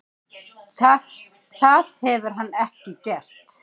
Það hefur hann ekki gert.